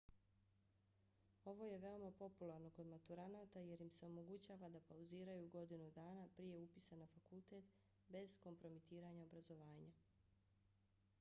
ovo je veoma popularno kod maturanata jer im se omogućava da pauziraju godinu dana prije upisa na fakultet bez kompromitiranja obrazovanja